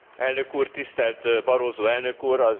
Elnök úr, tisztelt Barroso elnök úr!